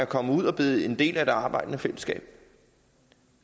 kommet ud og er blevet en del af det arbejdende fællesskab